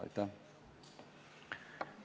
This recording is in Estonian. Aitäh!